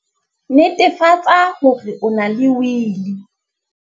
Netefatsa hore o na le Wili!